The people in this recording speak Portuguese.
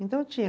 Então tinha.